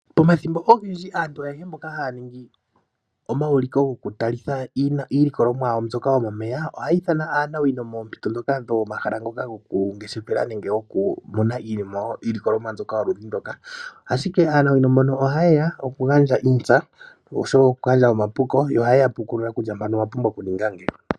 Pomathimbo ogendji aantu ayehe mboka haya ningi omauliko goku talitha iilikolomwa yawo mbyoka yo momeya ohaya ithana aanawino moompito dhoka dhomahala ngoka goku ngeshefela nenge goku mona iiyemo, iilikolomwa mbyoka yoludhi ndoka. Ashike aanawino mbono oha yeya oku gandja uuntsa osho wo oku gandja omapuko , yo oha yeya pukulula kutya mpano owa pumbwa oku ninga ngeyi.